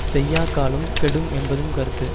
செய்யாக்காலும் கெடும் என்பதும் கருத்து